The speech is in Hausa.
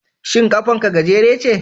Shin kafar ka gajere ce?